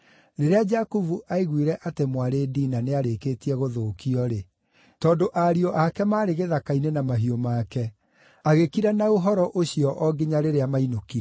Rĩrĩa Jakubu aiguire atĩ mwarĩ Dina nĩarĩkĩtie gũthũkio-rĩ, na tondũ ariũ ake maarĩ gĩthaka-inĩ na mahiũ make, agĩkira na ũhoro ũcio o nginya rĩrĩa mainũkire.